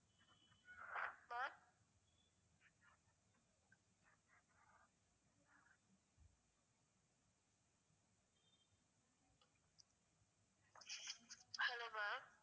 Ma'am hello ma'am